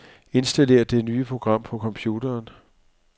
Installér det nye program på computeren.